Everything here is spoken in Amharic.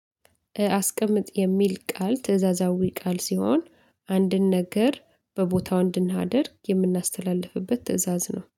አስቀምጥ የሚል ቃል ትእዛዛዊ ቃል ሲሆን አንድን ነገር በቦታው እንድናደርግ የምናስተላልፍበት ትእዛዝ ነው